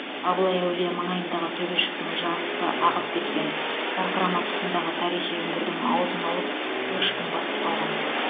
абылай әулие маңайындағы төбешіктің жартысы ағып кеткен сарқырама тұсындағы тарихи үңгірдің аузын алып көшкін басып қалған